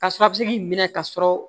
Ka sɔrɔ a bɛ se k'i minɛ ka sɔrɔ